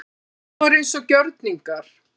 Hún var eins og gjörningar.